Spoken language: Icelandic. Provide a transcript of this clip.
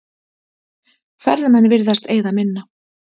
Ferðamenn virðast eyða minna